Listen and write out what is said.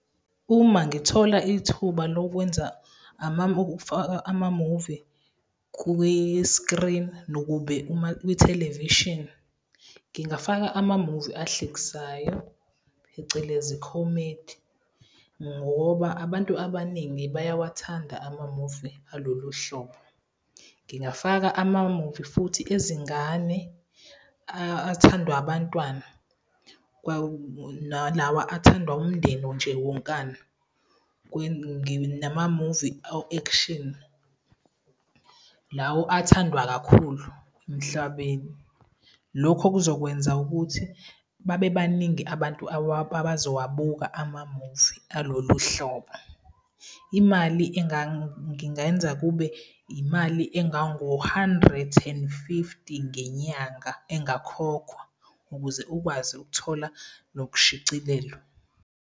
Uma ngithola ithuba lokwenza amamuvi kwisikrini nokube uma kwithelevishini, ngingafaka amamuvi ahlekisayo, phecelezi comedy, ngoba abantu abaningi bayawathanda amamuvi alolu hlobo. Ngingafaka amamuvi futhi ezingane, athandwa abantwana nalawa athanda umndeni nje wonkana namamuvi o-action, lawo athandwa kakhulu emhlabeni. Lokho kuzokwenza ukuthi babe baningi abantu abazowabuka amamuvi alolu hlobo. Imali ngingayenza kube imali engango hundred and fifty ngenyanga engakhokhwa ukuze ukwazi ukuthola lokushicilelo.